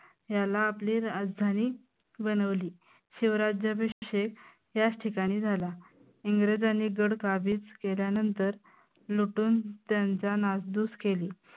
ह्याला आपली राजधानी बनवली. शिवराज्याभिषेक याच ठिकाणी झाला. इंग्रजांनी गड काबीज केल्यानंतर लुटून त्यांचा नासधूस केली.